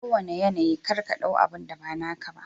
A kowanna yanayi kar ka ɗau abunda ba naka ba.